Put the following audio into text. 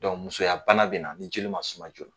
Dɔnku musoyabana bɛ na ni joli ma suma joona